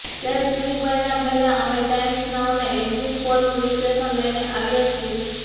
ત્યારે ચૂંટણી પરિણામ પહેલા અમે ટાઈમ્સ નાઉના એક્ઝિટ પોલનુ વિશ્લેષણ લઈને આવ્યા છીએ